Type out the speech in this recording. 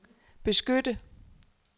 beskytte